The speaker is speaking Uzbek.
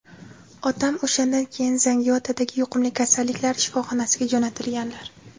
Otam o‘shandan keyin Zangiotadagi yuqumli kasalliklari shifoxonasiga jo‘natilganlar.